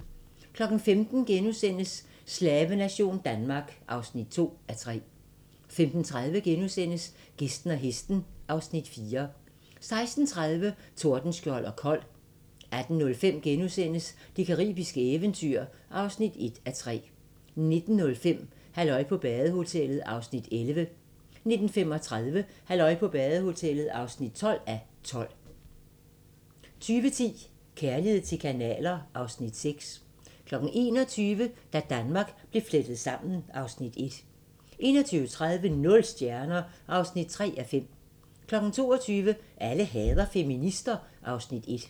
15:00: Slavenation Danmark (2:3)* 15:30: Gæsten og hesten (Afs. 4)* 16:30: Tordenskjold og Kold 18:05: Det caribiske eventyr (1:3)* 19:05: Halløj på badehotellet (11:12) 19:35: Halløj på badehotellet (12:12) 20:10: Kærlighed til kanaler (Afs. 6) 21:00: Da Danmark blev flettet sammen (Afs. 1) 21:30: Nul stjerner (3:5) 22:00: Alle hader feminister (Afs. 1)